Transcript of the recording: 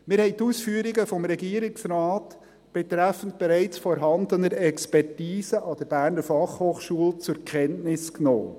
Wir haben die Ausführungen des Regierungsrates betreffend bereits vorhandener Expertise an der Berner Fachhochschule (BFH) zur Kenntnis genommen.